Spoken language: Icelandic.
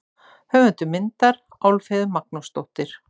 Höfundur myndar: Álfheiður Magnúsdóttir.